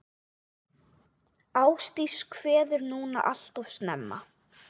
Ástdís kveður núna alltof snemma.